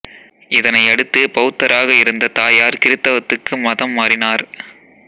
இதனை அடுத்து பௌத்தராக இருந்த தாயார் கிறித்தவத்துக்கு மதம் மாறினார்